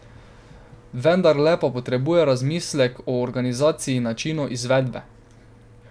Vendarle pa potrebuje razmislek o organizaciji in načinu izvedbe.